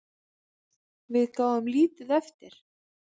Við gáfum lítið eftir.